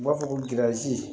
U b'a fɔ ko gɛlɛya